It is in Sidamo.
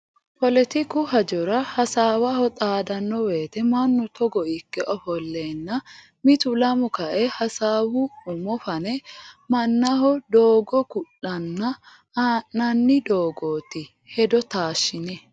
Poletiku hajora hasaawaho xaadano woyte mannu togo ikke ofollenna mitu lamu kae hasaawu umo fane mannaho doogo ku'lanna ha'nanni doogoti hedo taashine.